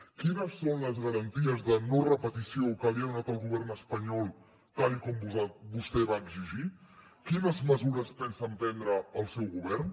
quines són les garanties de no repetició que li ha donat el govern espanyol tal com vostè va exigir quines mesures pensa emprendre el seu govern